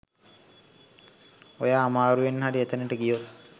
ඔයා අමාරුවෙන් හරි එතනට ගියොත්